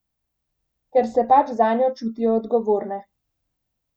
Ker se pač zanjo čutijo odgovorne.